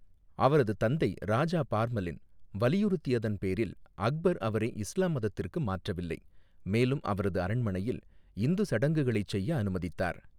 அவரது தந்தை ராஜா பர்மலின் வலியுறுத்தியதன் பேரில், அக்பர் அவரை இஸ்லாம் மதத்திற்கு மாற்றவில்லை, மேலும் அவரது அரண்மனையில் இந்து சடங்குகளைச் செய்ய அனுமதித்தார்.